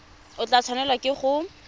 o tla tshwanelwa ke go